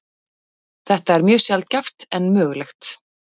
Þetta er mjög sjaldgæft en mögulegt.